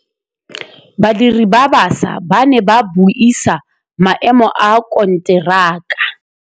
Badiri ba baša ba ne ba buisa maêmô a konteraka.